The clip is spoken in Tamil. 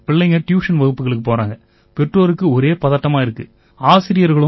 தேர்வுகளுக்காக பிள்ளைங்க டியூஷன் வகுப்புகளுக்குப் போறாங்க பெற்றோருக்கு ஒரே பதட்டமா இருக்கு